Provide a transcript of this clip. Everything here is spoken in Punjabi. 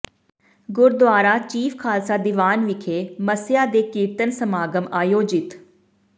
ਗੁਰਦੁਆਰਾ ਚੀਫ਼ ਖ਼ਾਲਸਾ ਦੀਵਾਨ ਵਿਖੇ ਮੱਸਿਆ ਦੇ ਕੀਰਤਨ ਸਮਾਗਮ ਆਯੋਜਿਤ